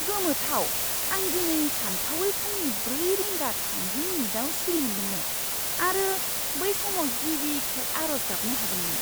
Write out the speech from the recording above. गोमोथाव! आं दिनै सानथावै फुंनि ब्रै रिंगा थामजि मिनिटआव सिरि मोनदोंमोन आरो बै समाव गिबिखेब आर'ज गाबनो हादोंमोन!